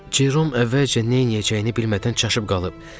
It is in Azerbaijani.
Jerom əvvəlcə neyləyəcəyini bilmədən çaşıb qalıb.